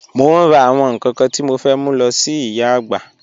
Mo n rà àwọn nkan kan tí mo fẹ́ mú lọ sí ìyà àgbà